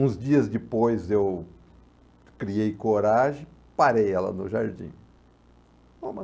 Uns dias depois eu criei coragem, parei ela no jardim.